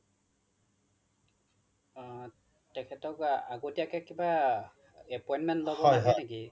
তেখেতক আগতীয়াকে কিবা appointment লব লাগে নেকি